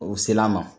O sel'a ma